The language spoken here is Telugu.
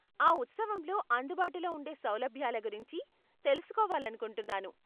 ఆ ఉత్సవంలో అందుబాటులో ఉండే సౌలభ్యాల గురించి తెలుసుకోవాలనుకుంటూన్నాను.